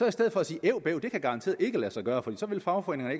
i stedet for at sige at det kan garanteret ikke lade sig gøre for fagforeningerne